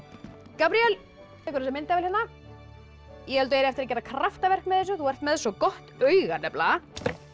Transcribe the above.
Gabríel þú tekur þessa myndavél hérna ég held þú eigir eftir að gera kraftaverk með þessu hérna þú ert með svo gott auga nefnilega